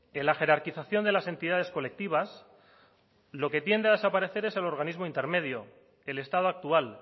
en la jerarquización de las entidades colectivas lo que tiende a desaparecer es el organismo intermedio el estado actual